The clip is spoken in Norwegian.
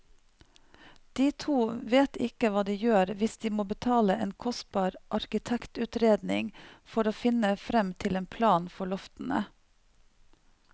De to vet ikke hva de gjør hvis de må betale en kostbar arkitektutredning for å finne frem til en plan for loftene.